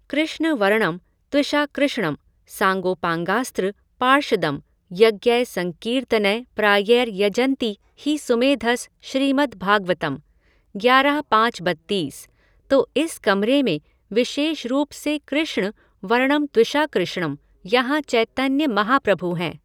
कृष्ण वर्णम त्विशाकृष्णम सांगोपांगास्त्र पार्षदम यज्ञै संकीर्तनै प्रायैर यजन्ति हि सुमेधस श्रीमद् भागवतम् ग्यारह पाँच बत्तीस, तो इस कमरे में विशेष रूप से कृष्ण वर्णम त्विशाकृष्णम, यहाँ चैतन्य महाप्रभु हैं।